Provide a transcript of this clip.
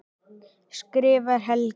skrifar Helgi.